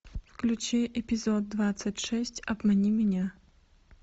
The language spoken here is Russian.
включи эпизод двадцать шесть обмани меня